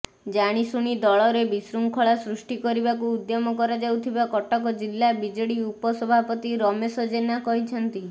ଜାଣିଶୁଣି ଦଳରେ ବିଶୃଙ୍ଖଳା ସୃଷ୍ଟି କରିବାକୁ ଉଦ୍ୟମ କରାଯାଉଥିବା କଟକ ଜିଲ୍ଲା ବିଜେଡି ଉପସଭାପତି ରମେଶ ଜେନା କହିଛନ୍ତି